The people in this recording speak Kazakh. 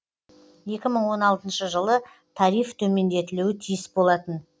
екі мың он алтыншы жылы тариф төмендетілуі тиіс болатын